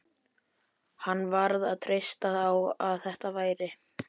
Hann varð bara að treysta á að þetta væri